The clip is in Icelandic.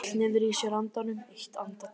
Hún hélt niðri í sér andanum eitt andartak.